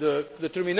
to